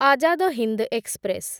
Azad Hind express